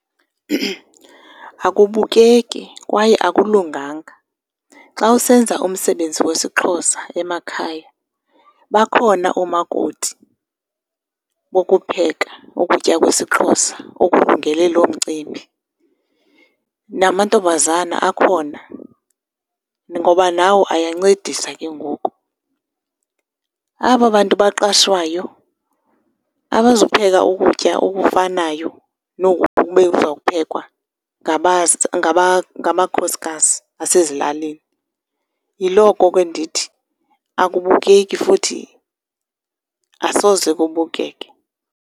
Akubukeki kwaye akulunganga. Xa usenza umsebenzi wesiXhosa emakhaya bakhona oomakoti bokupheka ukutya kwesiXhosa okulungele loo mcimbi. Namantombazana akhona, ngoba nawo ayancedisa ke ngoku. Aba bantu baqashwayo abazupheka ukutya okufanayo noku bekuzawuphekwa ngamakhosikazi asezilalini. Yiloko ke ndithi, akubukeki futhi asoze kubukeke.